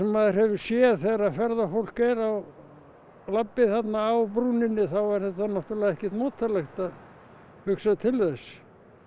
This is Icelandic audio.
maður hefur séð þegar ferðafólk er á labbi þarna á brúninni þá er þetta náttúrulega ekkert notalegt að hugsa til þess